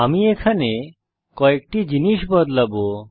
আমি এখানে কয়েকটি জিনিস বদলাবো